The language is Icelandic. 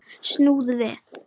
Snúðu við.